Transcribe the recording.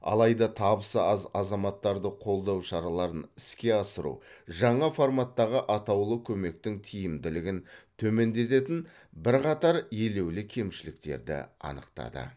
алайда табысы аз азаматтарды қолдау шараларын іске асыру жаңа форматтағы атаулы көмектің тиімділігін төмендететін бірқатар елеулі кемшіліктерді анықтады